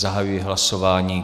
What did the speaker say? Zahajuji hlasování.